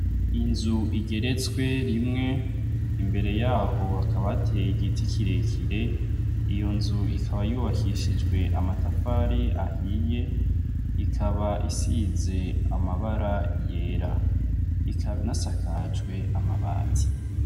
Inzu igeretswe rimwe imbere yaho hakabateye igiti kirekire iyo nzu ikaba yubakishijwe amatafari ahiye ikaba isize amabara yera ikaba inasakajwe amabati.